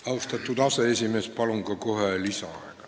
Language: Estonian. Austatud aseesimees, palun ka kohe lisaaega!